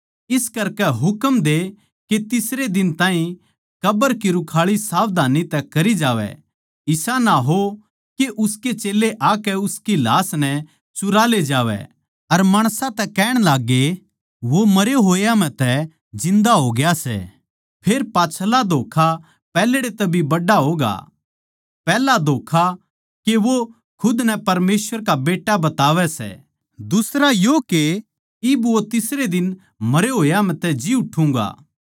इस करकै हुकम दे के तीसरे दिन ताहीं कब्र की रुखाळी सावधानी तै करी जावै इसा ना हो के उसके चेल्लें आकै उसकी लाश नै चुरा ले जावै अर माणसां तै कहण लाग्गै वो मरे होया म्ह तै जिन्दा होग्या सै फेर पाच्छला धोक्खा पैहल्ड़े तै भी बड्ड़ा होगा पैहला धोक्खा के वो खुद नै परमेसवर का बेट्टा बतावै सै दुसरा यो के इब वो तीसरे दिन मरे होया मै तै जी उठ्ठुँगा